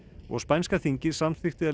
og spænska þingið samþykkti að